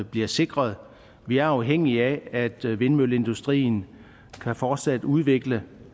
bliver sikret vi er afhængige af at vindmølleindustrien fortsat kan udvikle